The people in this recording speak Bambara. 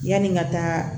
Yani n ka taa